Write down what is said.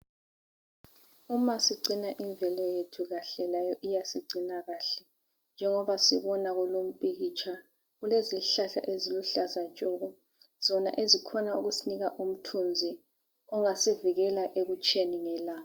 Umasigcina imvelo yethu kahle layo iyasigcina kuhle. Njengoba sibona kulo umpikitsha kulezihlahla eziluhlaza tshoko zona ezikhona ukusinika umthunzi ongasivikela ekutsheni ngelanga.